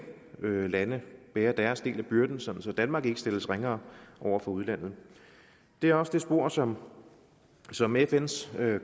lande bærer deres del af byrden sådan at danmark ikke stilles ringere over for udlandet det er også det spor som som fns